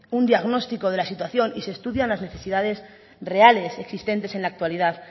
un diagnóstico de la situación y se estudian las necesidades reales existentes en la actualidad